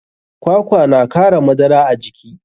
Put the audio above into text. Kwakwa na kara madara a jiki.